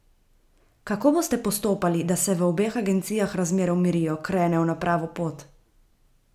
Kako boste postopali, da se v obeh agencijah razmere umirijo, krenejo na pravo pot?